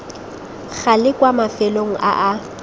gale kwa mafelong a a